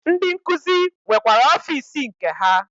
Ndi nkuzi nwekwara ọfịs nke ha.